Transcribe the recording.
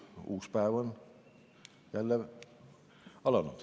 Ilus uus päev on jälle alanud.